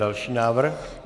Další návrh.